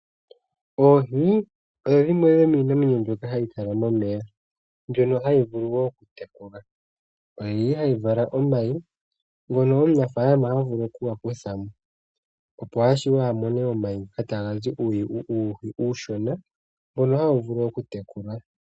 Oohi odho dhimwe dhomiinamwenyo mbyoka hayi kala momeya, mbyono hayi vulu okutekulwa. Oyili hayi vala omayi, ngono omunafaalama havulu okuga kuthamo, opo ashiwe a mone omayi ngoka taga zi uuhi uushona, mbono hawu vulu okutekulwa.